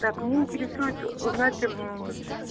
так мне интересует узнать